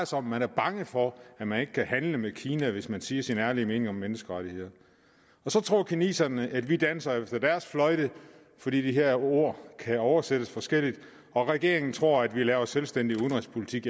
sig om man er bange for at man ikke kan handle med kina hvis man siger sin ærlige mening om menneskerettigheder så tror kineserne at vi danser efter deres fløjte fordi de her ord kan oversættes forskelligt og regeringen tror at vi laver selvstændig udenrigspolitik